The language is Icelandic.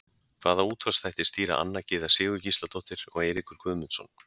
Hvaða útvarpsþætti stýra Anna Gyða Sigurgísladóttir og Eiríkur Guðmundsson?